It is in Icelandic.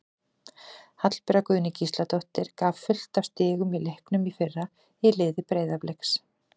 Hallbera Guðný Gísladóttir gaf fullt af stigum í leiknum í fyrra í liði Breiðabliks.